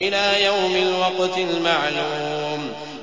إِلَىٰ يَوْمِ الْوَقْتِ الْمَعْلُومِ